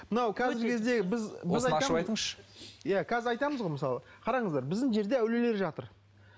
мынау қазіргі кезде біз осыны ашып айтыңызшы иә қазір айтамыз ғой мысалы қараңыздар біздің жерде әулиелер жатыр